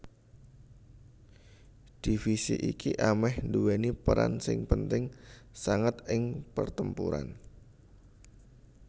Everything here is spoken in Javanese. Divisi iki ameh nduwèni peran sing penting sanget ing pertempuran